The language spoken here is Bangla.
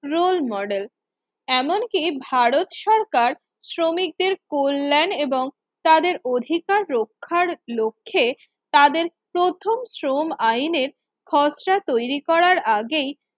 Roll Model এমনকি ভারত সরকার শ্রমিকদের কল্যাণ এবং তাদের অধিকার রক্ষার লক্ষ্যে তাদের প্রথম শ্রম আইনের খসড়া তৈরি করার আগেই